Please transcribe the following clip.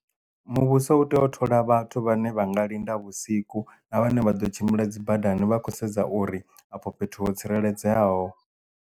Muvhuso u tea u thola vhathu vhane vha nga linda vhusiku na vhane vha ḓo tshimbila dzi badani vha khou sedza uri afho fhethu ho tsireledzeaho.